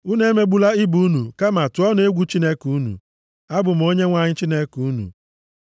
Unu emegbula ibe unu kama tụọnụ egwu Chineke unu. Abụ m Onyenwe anyị Chineke unu.